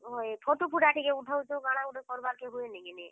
ହଏ Photo ଫୁଟା ଟିକେ ଉଠଉଛ କାଣା ଗୁଟେ କର୍ ବା କେ ଟିକେ ହୁଏ ନାଇ କିନି।